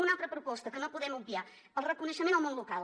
una altra proposta que no podem obviar el reconeixement al món local